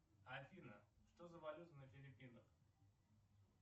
афина что за валюта на филиппинах